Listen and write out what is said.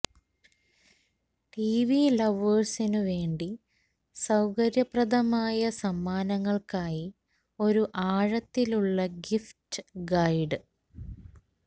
TV ലവേഴ്സിനു വേണ്ടി സൌകര്യപ്രദമായ സമ്മാനങ്ങൾക്കായി ഒരു ആഴത്തിലുള്ള ഗിഫ്റ്റ് ഗൈഡ്